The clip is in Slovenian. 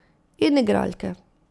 In igralke.